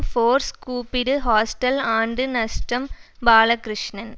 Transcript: force கூப்பிடு hostel ஆண்டு நஷ்டம் பாலகிருஷ்ணன்